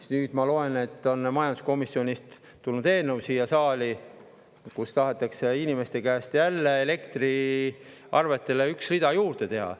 Aga nüüd ma loen, et majanduskomisjonist on tulnud siia saali eelnõu, millega tahetakse inimeste käest jälle, elektriarvetele üks rida juurde teha.